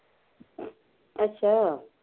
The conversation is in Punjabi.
ਅੱਛਾ